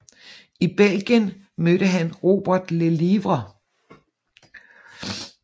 I Belgien mødte han Robert Lelièvre